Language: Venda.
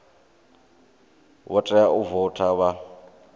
vha tea u voutha vha